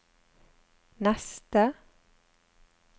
neste